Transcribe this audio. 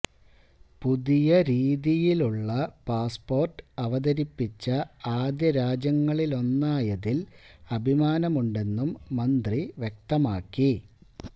പുതിയ രീതിയിലുള്ള പാസ്പോര്ട്ട് അവതിരിപ്പിച്ച ആദ്യ രാജ്യങ്ങളിലൊന്നായതില് അഭിമാനമുണ്ടെന്നും മന്ത്രി വ്യക്തമാക്കി